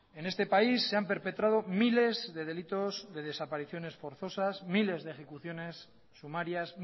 en este país se han perpetrado miles de delitos de desapariciones forzosas miles de ejecuciones sumarias